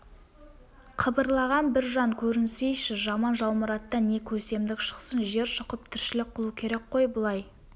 қыбырлаған бір жан көрінсейші жаман жалмұраттан не көсемдік шықсын жер шұқып тіршілік қылу керек қой бұлай